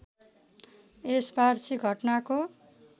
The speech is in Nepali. यस वार्षिक घटनाको